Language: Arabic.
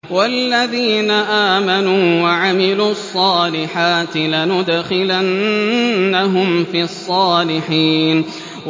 وَالَّذِينَ آمَنُوا وَعَمِلُوا الصَّالِحَاتِ لَنُدْخِلَنَّهُمْ فِي الصَّالِحِينَ